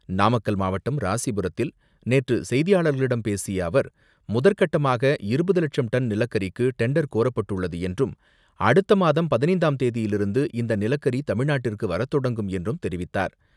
நாமக்கல் மாவட்டம் ராசிபுரத்தில் நேற்று செய்தியாளர்களிடம் பேசிய அவர், முதற்கட்டமாக இருபது லட்சம் டன் நிலக்கரிக்கு டெண்டர் கோரப்பட்டுள்ளது என்றும் அடுத்த மாதம் பதினைந்தாம் தேதியிலிருந்து இந்த நிலக்கரி தமிழ்நாட்டிற்கு வரத்தொடங்கும் என்றும் தெரிவித்தார்.